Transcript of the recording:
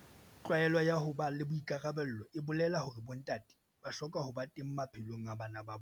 Tlwaelo ya ho ba le boikarabelo e bolela hore bontate ba hloka ho ba teng maphelong a bana ba bona.